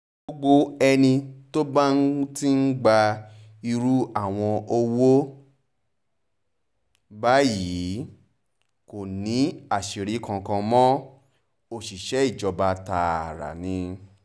gbogbo ẹni tó bá ti ń gba irú àwọn owó báyìí kò ní àṣírí kankan mọ́ òṣìṣẹ́ ìjọba tààrà ni